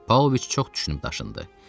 Pavloviç çox düşünüb daşındı.